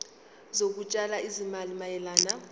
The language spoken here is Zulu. zokutshala izimali mayelana